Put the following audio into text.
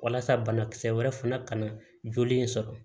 Walasa banakisɛ wɛrɛ fana ka na joli in sɔrɔ